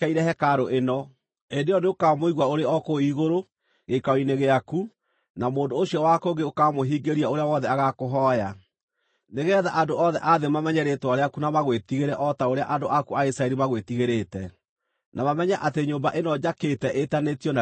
hĩndĩ ĩyo nĩũkamaigua ũrĩ o kũu igũrũ, gĩikaro-inĩ gĩaku, na mũndũ ũcio wa kũngĩ ũkamũhingĩria ũrĩa wothe agakũhooya, nĩgeetha andũ othe a thĩ mamenye rĩĩtwa rĩaku na magwĩtigĩre o ta ũrĩa andũ aku a Isiraeli magwĩtigĩrĩte, na mamenye atĩ nyũmba ĩno njakĩte ĩĩtanĩtio na Rĩĩtwa rĩaku.